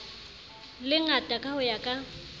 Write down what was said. lengata ka ho ya ka